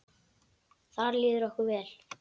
Þar líður okkur vel.